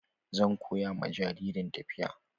Zan koya ma jaririn tafiya.